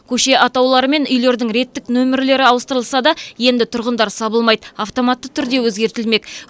көше атаулары мен үйлердің реттік нөмірлері ауыстырылса да енді тұрғындар сабылмайды автоматты түрде өзгертілмек